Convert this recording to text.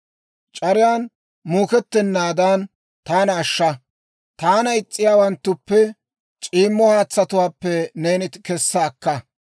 C'ariyaan muukettenaadan taana ashsha. Taana is's'iyaawanttuppe, c'iimmo haatsatuwaappe neeni kessa akka.